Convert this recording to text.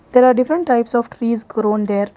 There are different types of trees grown there.